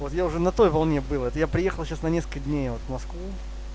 вот я уже на той волне был вот я приехал сейчас на несколько дней вот в москву